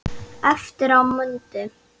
Eftir á mundi